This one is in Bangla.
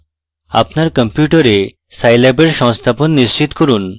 আপনার কম্পিউটারে scilab এর সংস্থাপন নিশ্চিত করুন